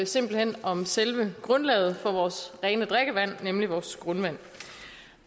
simpelt hen om selve grundlaget for vores rene drikkevand nemlig vores grundvand